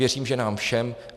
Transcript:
Věřím, že nám všem.